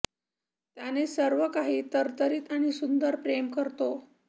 त्याने सर्व काही तरतरीत आणि सुंदर प्रेम करतो